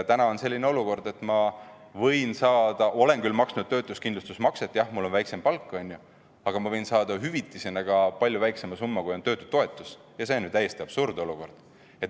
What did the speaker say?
Täna on selline olukord, et ma olen küll maksnud töötuskindlustusmakset, jah, mul on selle võrra väiksem palk, aga ma võin saada hüvitisena ka palju väiksema summa, kui on töötutoetus, ja see on ju täiesti absurdne olukord.